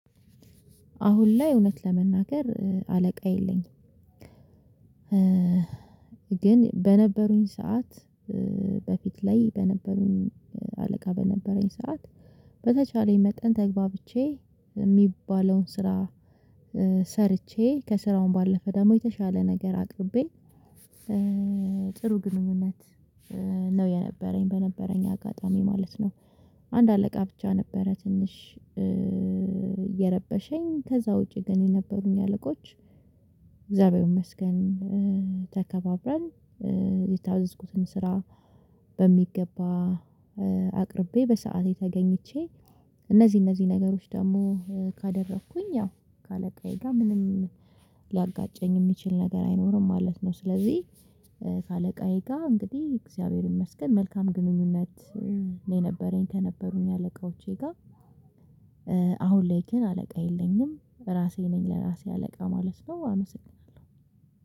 አሁን ላይ እውነት ለመናገር አለቃ የለኝም። ግን በነበሩኝ ሰዓት በፊት ላይ በነበሩኝ አለቃ በነበረኝ ሰዓት በተቻለኝ መጠን ተግባብቼ የሚባለውን ስራ። ሰርቼ ከስራውም ባለፈ ደግሞ የተሻለ ነገር አቅርቤ ጥሩ ግንኙነት ነው የነበረኝ በነበረኝ አጋጣሚ ማለት ነው። አንድ አለቃ ብቻ ነበረ ትንሽ የረበሸኝ ከዚያ ውጪ ግን የነበሩኝ አለቆች። እግዚአብሔር ይመስገን ተከባብረን የታዘዝኩትን ስራ በሚገባ አቅርቤ በሰአቴ ተገኝቼ። እነዚህን እነዚህ ነገሮች ደግሞ ካደረኩኝ ያው ከአለቃዬ ጋር ምንም ልያጋጨኝ የሚችል ነገር አይኖርም ማለት ነው። ስለዚህ ከአለቃዬ ጋር እንግዲህ እግዚአብሔር ይመስገን መልካም ግንኙነት ነው የነበረኝ ከነበሩኝ አለቆቼ ጋር። አሁን ላይ ግን አለቃ የለኝም ራሴ ነኝ ለራሴ አለቃ ማለት ነው። አመሰግናለሁ